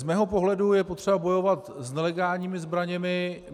Z mého pohledu je potřeba bojovat s nelegálními zbraněmi.